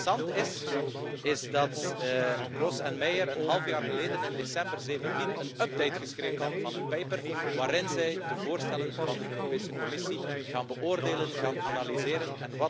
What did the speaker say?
Wat interessant is, is dat Gross en Meyer een half jaar geleden, in december 2017, een update geschreven hebben van hun paper waarin zij de voorstellen van de Europese Commissie beoordelen en analyseren.